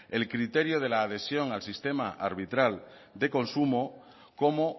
el criterio de la adhesión al sistema arbitral de consumo como